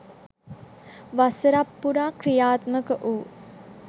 වසරක් පුරා ක්‍රියාත්මක වූ